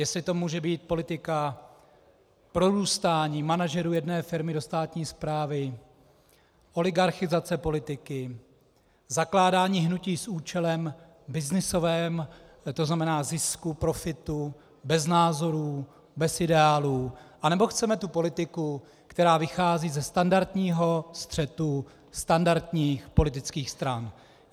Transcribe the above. Jestli to může být politika prorůstání manažerů jedné firmy do státní správy, oligarchizace politiky, zakládání hnutí s účelem byznysovým, to znamená zisku, profitu, bez názorů, bez ideálů, anebo chceme tu politiku, která vychází ze standardního střetu standardních politických stran.